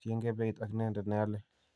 tiengei beit ak ineendet ne alyei.